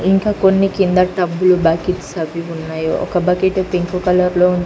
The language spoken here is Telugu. ఇంకా కొన్ని కింద టబ్బులు బకెట్సు అవి ఉన్నాయ్ ఒక బకెటు పింక్ కలర్ లో ఉంది.